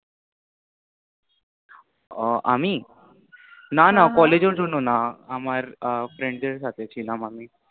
ও আমি? না না হম হম college এর জন্য না, আমার friend দের সাথে ছিলাম আমি।